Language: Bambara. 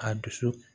A dusu